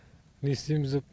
не істейміз деп